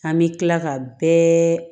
An bɛ tila ka bɛɛ